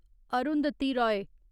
Arundhati Roy